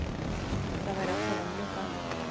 Það væri alla vega mjög gaman